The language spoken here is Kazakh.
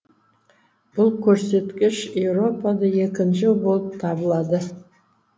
бұл көрсеткіш еуропада екінші болып табылады